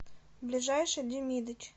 ближайший демидыч